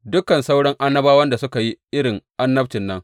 Dukan sauran annabawan suka yi irin annabcin nan.